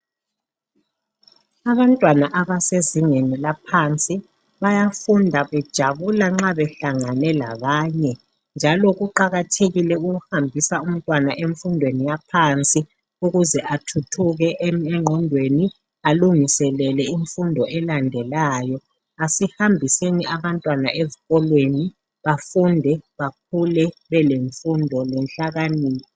Abantwana abasezingeni laphansi bayafunda bejabula nxa behlangane labanye njalo kuqakathekile ukuhambisa umntwana emfundweni yaphansi ukuze athuthuke engqondweni alungiselele imfundo elandelayo asihambiseni abantwana ezikolweni bafunde bakhule belemfundo lenhlakanipho.